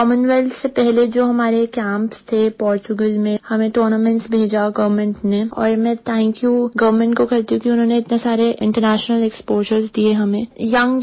Commonwealth से पहले जो हमारे कैम्प्स थे पोर्तुगल में हमें टूर्नामेंट्स भेजा गवर्नमेंट ने और मैं थांक यू गवर्नमेंट को करती हूँ क्योंकि उन्होंने इतने सारे इंटरनेशनल एक्सपोजर दिए हमें